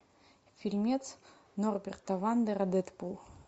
фильмец норберта вандера дэдпул